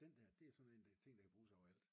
Men den der det er sådan en ting der kan bruges overalt